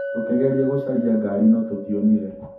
Tũkĩgeria gũcaria ngari no tũtionire.